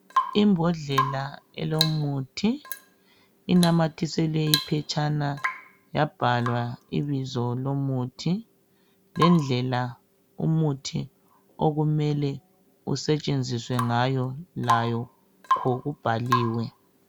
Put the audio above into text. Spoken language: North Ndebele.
Imbodlela elomuthi, inamathiselwe iphetshana yabhalwa ibizo lomuthi lendlela umuthi okumele usetshenziswe ngayo lakho kubhaliwe.